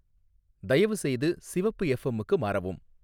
தயவு செய்து சிவப்பு எஃப்எம்க்கு மாறவும்